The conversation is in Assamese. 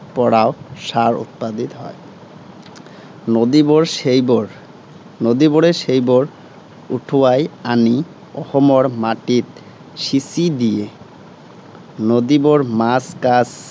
পৰাও সাৰ উৎপাদিত হয়। নদীবােৰে সেইবােৰ, নদীবোৰে সেইবোৰ উটুৱাই আনি অসমৰ মাটিত সিঁচি দিয়ে। নদীবােৰ মাছ কাছ